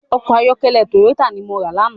Òkò àyòkèlè tóyótá ni mó rá làná